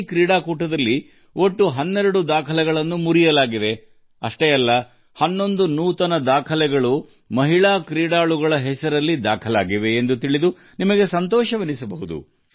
ಈ ಆಟಗಳಲ್ಲಿ ಒಟ್ಟು 12 ದಾಖಲೆಗಳನ್ನು ಮುರಿಯಲಾಗಿದೆ ಎಂದು ತಿಳಿದರೆ ನೀವು ಹರ್ಷಪಡುತ್ತೀರಿ ಅಷ್ಟೇ ಅಲ್ಲ 11 ಹೊಸ ದಾಖಲೆಗಳು ಮಹಿಳಾ ಆಟಗಾರರ ಹೆಸರಿನಲ್ಲಿ ನೋಂದಾವಣೆಯಾಗಿವೆ